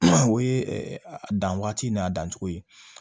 O ye a dan waati n'a dancogo ye